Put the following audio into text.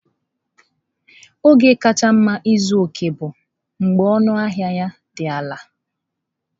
Oge kacha mma ịzụta ọkẹ́ bụ mgbe ọnụahịa ya dị ala.